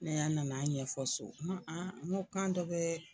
Ne y'a nana a ɲɛfɔ so n ko kan dɔ bɛ